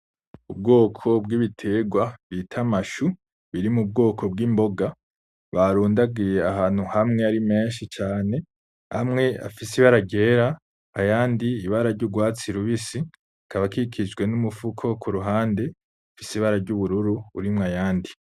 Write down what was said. Ubwoko bw'ibiterwa bita amashu biri mubwoko bw'imboga barundagiye ahantu hamwe ari menshi cane amwe afise ibara ryera ayandi ibara ry'urwatsi rubisi akaba akikijwe n'umufuko kuruhande ufise ibara ry'ubururu arimwo ayandi.